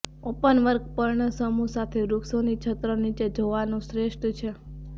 openwork પર્ણસમૂહ સાથે વૃક્ષોની છત્ર નીચે જોવાનું શ્રેષ્ઠ છે